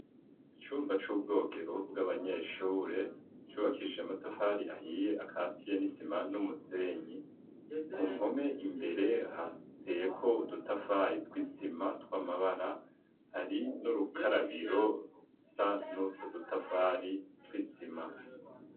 Icumba c'ubwogero bw'abanyeshure cubakishije amatafari ahiye akatiye n'isima n'umusenyi ku mpome imbere hateyeko udutafari twisima tw'amabara hari n'urukarabiro rusa nutwo dutafari twisima.